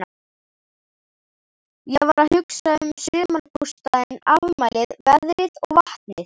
Ég var að hugsa um sumarbústaðinn, afmælið, veðrið og vatnið.